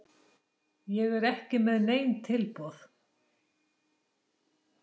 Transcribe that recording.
Ég er ekki með nein tilboð.